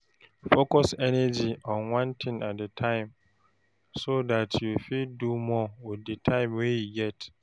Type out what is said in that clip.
Focus energy on one thing at a time, so dat you fit do more with di time wey you get